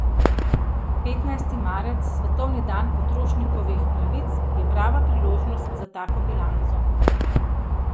Petnajsti marec, svetovni dan potrošnikovih pravic, je prava priložnost za tako bilanco.